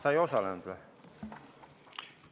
Sa ei osalenud või?